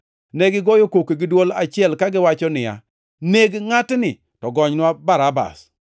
Negigoyo koko gi dwol achiel kagiwacho niya, “Neg ngʼatni! To gonynwa Barabas!”